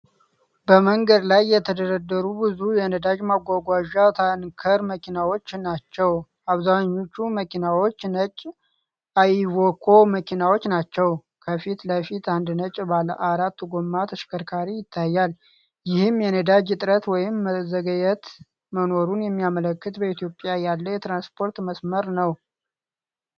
በመንገድ ላይ የተደረደሩ ብዙ የነዳጅ ማጓጓዣ ታንከር መኪናዎች ናቸው። አብዛኞቹ መኪናዎች ነጭ አይቪኮ መኪናዎች ናቸው። ከፊት ለፊት አንድ ነጭ ባለአራት ጎማ ተሽከርካሪ ይታያል። ይህም የነዳጅ እጥረት ወይም መዘግየት መኖሩን የሚያመለክት በኢትዮጵያ ያለ የትራንስፖርት መስመር ነው።